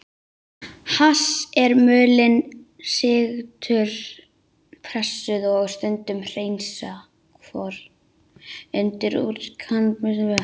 Hass er mulin, sigtuð, pressuð og stundum hreinsuð kvoða unnin úr kannabisplöntum.